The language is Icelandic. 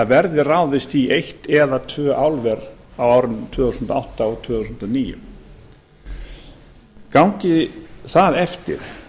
verði ráðist í eitt eða tvö álver á árunum tvö þúsund og átta og tvö þúsund og níu gangi það eftir